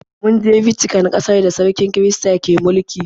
Mun je Vatican, ƙasar da sarkin kirista ke mulki.